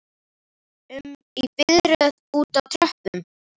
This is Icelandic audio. um í biðröð úti á tröppum?